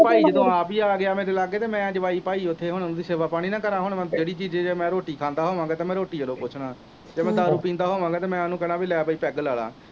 ਭਾਈ ਜਦੋਂ ਆਪ ਹੀ ਆ ਗਿਆ ਮੇਰੇ ਲਾਗੇ ਅਤੇ ਮੈਂ ਜਵਾਈ ਭਾਈ ਉੱਥੇ ਹੁਣ ਉਹਦੀ ਸੇਵਾ ਪਾਣੀ ਨਾ ਕਰਾਂ, ਹੁਣ ਮੈ ਜਿਹੜੀ ਚੀਜ਼ ਜੇ ਮੈਂ ਰੋਟੀ ਖਾਦਾ ਹੋਵਾਂ ਤਾਂ ਮੈਂ ਰੋਟੀ ਵੱਲੌ ਪੁੱਛਦਾਂ, ਜੇ ਮੈਂ ਦਾਰੂ ਪੀਂਦਾ ਹੋਵਾਂਗਾ ਤਾਂ ਮੈਂ ਉਹਨੂੰ ਕਹਿਣਾ ਬਈ ਲੈ ਬਈ ਪੈੱਗ ਲਾ ਲਾ।